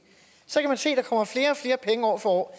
så kan man se at der kommer flere og flere penge år for år